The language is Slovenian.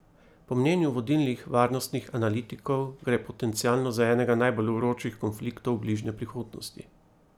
Po mnenju vodilnih varnostnih analitikov gre potencialno za enega najbolj vročih konfliktov bližnje prihodnosti.